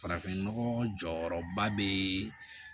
Farafinnɔgɔ jɔyɔrɔba bɛ